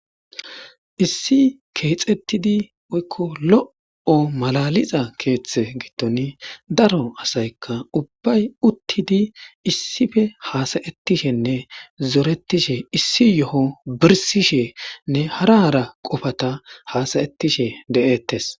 issi keexettidi oykko lo'o malaliza keeththe giddon daro asaykka ubbay uttidi issife haasayettishenne zoretishe issi yo'o birsishe nne hara ara qofata haasayettishe de'ettes.